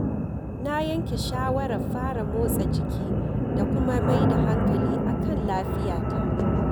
Na yanke shawarar fara motsa jiki da kuma mai da hankali akan lafiyata.